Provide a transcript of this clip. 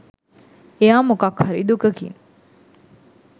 එයා මොකක් හරි දුකකින්